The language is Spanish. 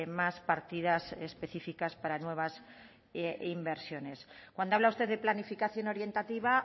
más partidas específicas para nueva inversiones cuando habla usted de planificación orientativa